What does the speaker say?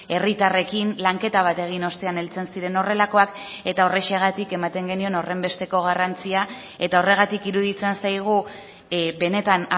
herritarrekin lanketa bat egin ostean heltzen ziren horrelakoak eta horrexegatik ematen genion horrenbesteko garrantzia eta orregatik iruditzen zaigu benetan